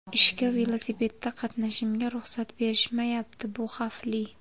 Ishga velosipedda qatnashimga ruxsat berishmayapti bu xavfli.